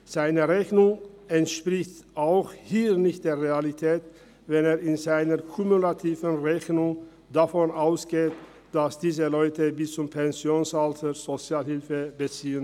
Seine Rechnung entspricht auch dann nicht der Realität, wenn er in seiner kumulativen Rechnung davon ausgeht, dass diese Leute bis zum Pensionsalter Sozialhilfe beziehen.